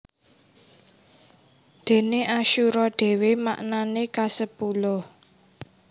Déné asyura dhéwé maknané kasepuluh